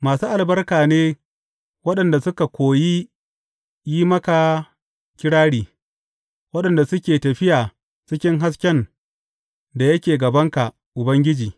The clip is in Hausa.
Masu albarka ne waɗanda suka koyi yin maka kirari waɗanda suke tafiya cikin hasken da yake gabanka, Ubangiji.